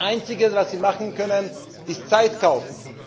Das einzige, was Sie machen können, ist Zeit zu kaufen.